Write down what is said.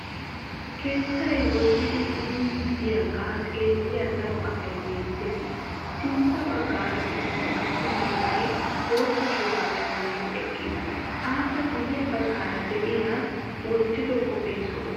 Keettay woddidi kunddidaaga xeelliya daro asay beettees. Sintta baggaara issi attuma na'ay boottta shuraabiya maayidi eqqiis. Appe guye baggaara de'iyaagee wottiddo qophphee zo"o.